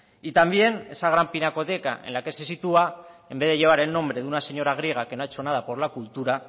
y también esa gran pinacoteca en la que se sitúa en vez de llevar el nombre de una señora griega que no ha hecho nada por la cultura